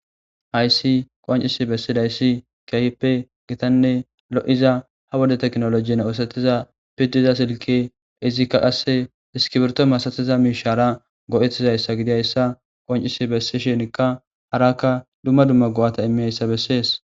hayssi qoncisi bessidayssi keehippe gitanne lo7iza ha wode teknolojiyn oosatiza piddiza silki izikka qasse diskibirto masatiza miishara go7etizayssa gidiyayssa qoncisi bessishinkka harakka dumma dumma go7ata immiyayssa bessees